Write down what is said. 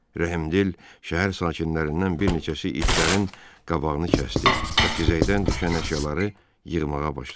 Rəhimdil şəhər sakinlərindən bir neçəsi itlərin qabağını kəsdi və xizəkdən düşən əşyaları yığmağa başladı.